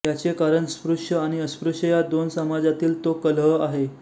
याचे कारण स्पृश्य आणि अस्पृश्य या दोन समाजांतील तो कलह आहे